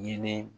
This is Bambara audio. Ɲini